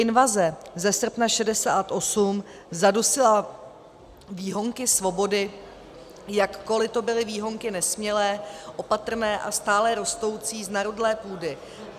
Invaze ze srpna 1968 zadusila výhonky svobody, jakkoli to byly výhonky nesmělé, opatrné a stále rostoucí z narudlé půdy.